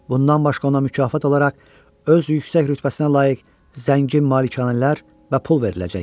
Bundan başqa ona mükafat olaraq öz yüksək rütbəsinə layiq zəngin malikanələr və pul veriləcək.